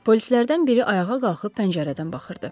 Polislərdən biri ayağa qalxıb pəncərədən baxırdı.